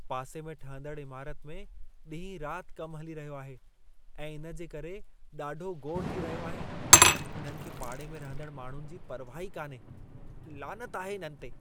पासे में ठहंदड़ इमारत में ॾींहं रात कम हली रहियो आहे ऐं इन जे करे ॾाढो घोड़ थी रहियो आहे। इन्हनि खे पाड़े में रहंदड़ माण्हुनि जी परवाहु ई कान्हे। लानत आहे इन्हनि ते!